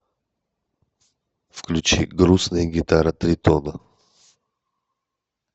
включи грустная гитара тритона